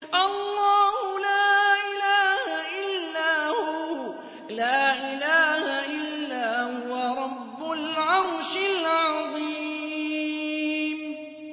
اللَّهُ لَا إِلَٰهَ إِلَّا هُوَ رَبُّ الْعَرْشِ الْعَظِيمِ ۩